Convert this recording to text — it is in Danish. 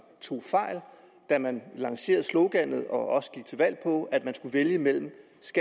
da man lancerede sloganet og også gik til valg på at man skulle vælge mellem